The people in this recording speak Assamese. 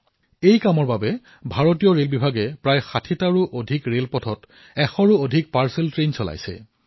এই কামৰ বাবে ভাৰতীয় ৰেলৱেয়ে প্ৰায় ৬০টাত কৈও অধিক ৰেল পথত ১০০ত কৈও অধিক পাৰ্চেল ৰেল চলাই আছে